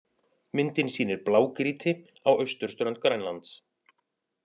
Myndin sýnir blágrýti á austurströnd Grænlands.